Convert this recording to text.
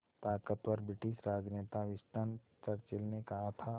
ताक़तवर ब्रिटिश राजनेता Winston Churchill ने कहा था